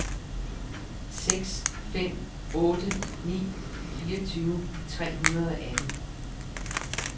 seks fem otte ni fireogtyve tre hundrede og atten